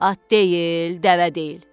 At deyil, dəvə deyil.